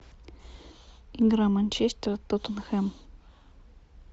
игра манчестер тоттенхэм